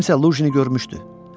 Kimsə Luqini görmüşdü.